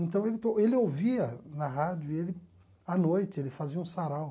Então, ele to ele ouvia na rádio e ele, à noite, ele fazia um sarau.